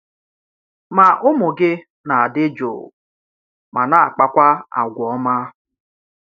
Má ùmụ́ gị̀ na-adị̀ jụụ̀ ma na-àkpakwà àgwà́ ọ́ma.